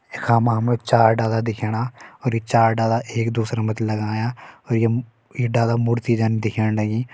यखा मा हमि चार डाला दिखेणा यी चार डाला एक दूसरा मथि लगायां अर ये मु ये डाला मूर्ति जन दिखेण लगीं।